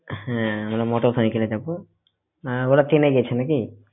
হ্যাঁ আমরা motorcycle এ যাব আহ ওরা ট্রেনে গেছে নাকি?